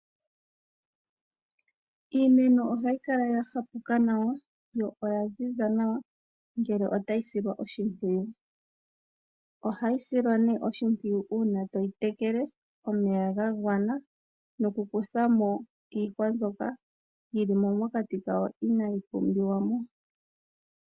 Iimeno ohayi kala ya hapuka nawa, yo oyaziza nawa ngele otayi silwa oshimpwiyu. Ohayi silwa ne oshimpwiyu uuna toyi tekele omeya ga gwana, nokukuthamo iihwa mbyoka yilimo mokati kayo, inaayi pumbiwa mo.